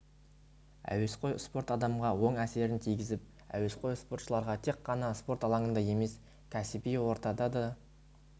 әуесқой спорт адамға оң әсерін тигізіп әуесқой спортшыларға тек қана спорт алаңында емес кәсіби ортада да